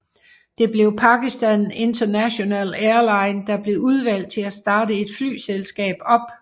Det blev Pakistan International Airlines der blev udvalgt til at starte et flyselskab op